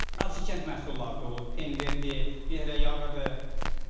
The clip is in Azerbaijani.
Kənd məhsulları da olur, pendirdir, nehrə yağıdır.